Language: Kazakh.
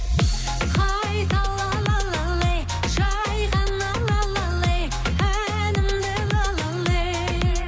қайтала жайғаным әнімді